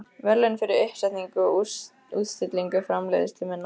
verðlaun fyrir uppsetningu og útstillingu framleiðslu minnar.